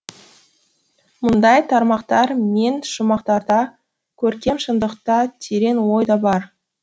мұндай тармақтар мен шумақтарда көркем шындық та терең ой да бар